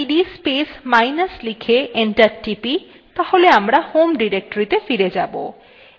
যদি আমরা cd space minus লিখে enter টিপি তাহলে আমরা home ডিরেক্টরীতে ফিরে যাব